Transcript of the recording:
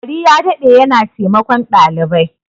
Gari ya dade yana taimakon dalibai.